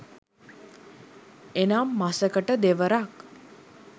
එනම් මසකට දෙවරක්